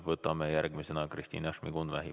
Võtame järgmisena Kristina Šmigun-Vähi.